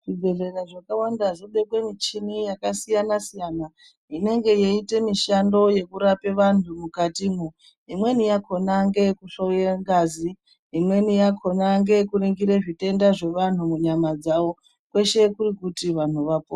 Zvibhehlera zvakawanda zvobekwe michini yakasiyana siyana inenge yeiite mishando yekurapa vantu mukatimo imweni yakona ndeyekuhloya ngazi imweni yakhona ngeyekuringira zvitenda zvevantu munyama dzavo kweshe kuri kuti vantu vapore.